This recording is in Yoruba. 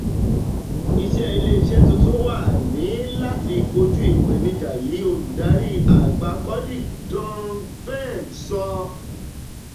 iṣẹ́ ile iṣẹ́ tuntun wa ni láti kojú ìpèníjà yìí" olùdarí àgbà codic dong peng sọ.